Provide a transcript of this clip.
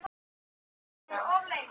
Hvar stöndum við þá?